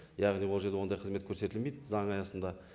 яғни ол жерде ондай қызмет көрсетілмейді заң аясында